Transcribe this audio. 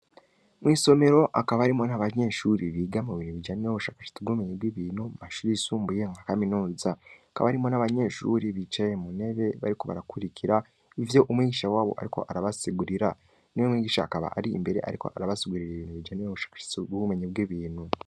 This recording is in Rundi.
Mw'isomero akaba arimo nt'abanyeshuri biga mu bintu bijane bo ubushakashitsa bwubumenyi bw'ibintu mashuri yisumbuye nka kaminuza akaba arimo n'abanyeshuri bicaye munebe bariko barakurikira ivyo umwigisha wabo, ariko arabasigurira ni we mwigisha akaba ari imbere, ariko arabasigurira i ibintu bijani wo ubushakashitsi bbumenyi bw'ibintu.